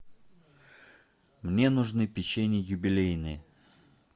мне нужны печенье юбилейные